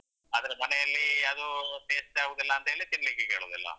ಆದ್ರೆ ಮನೆಯಲ್ಲೀ ಅದೂ taste ಆಗುದಿಲ್ಲ ಅಂತ್ಹೇಳಿ ತಿನ್ಲಿಕ್ಕೆ ಕೇಳುದಿಲ್ಲ.